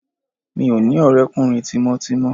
Mi ò ní ọ̀rẹ́kùnrin tímọ́tímọ́